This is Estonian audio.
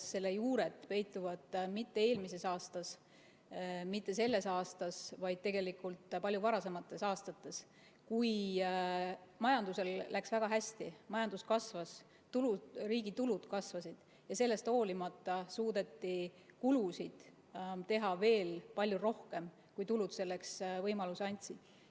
Selle juured peituvad mitte eelmises aastas, mitte selles aastas, vaid tegelikult palju varasemates aastates, kui majandusel läks väga hästi, majandus kasvas, riigi tulud kasvasid ja sellest hoolimata suudeti kulutusi teha veel palju rohkem, kui tulud selleks võimalusi andsid.